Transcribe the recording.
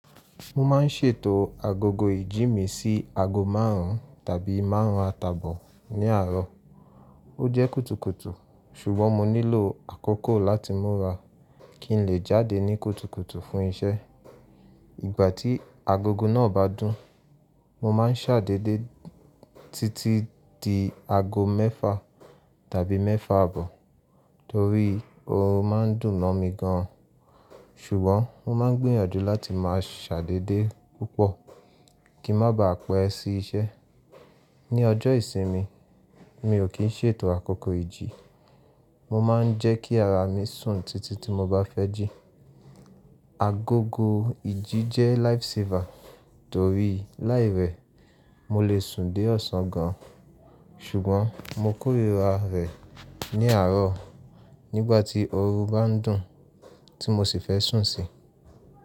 Mo máa ń ṣètò agogo ìjí mi sí ago márùn-ún tàbí márùn-ún atàbọ̀ ní àárọ̀. Ó jẹ́ kùtùkùtù ṣùgbọ́n mo nílò àkókò láti múra kí n lè jáde ní kùtùkùtù fún iṣẹ́. Ìgbà tí agogo náà bá dún, mo máa ń ṣàdédé títí di ago mẹ́fà tàbí mẹ́fà àbọ̀ torí orun máa ń dùn mọ́ mi gan-an. Ṣùgbọ́n mo máa ń gbìyànjú láti máa ṣàdédé púpọ̀ kí n má ba à pẹ́ sí iṣẹ́. Ni ọjọ́ ìsinmi, mi ò kí ń ṣètò àkókò ìjí, mo máa ń jẹ́ kí ara mi sùn títí tí mo bá fẹ́ jí. Agogo ìjí jẹ́ lifesaver torí láì rẹ̀ mo lè sùn dé ọ̀sán gan-an. Ṣùgbọ́n mo kórira rẹ̀ ní àárọ̀ nígbà tí orun bá ń dùn tí mo sì fẹ́ sùn sí.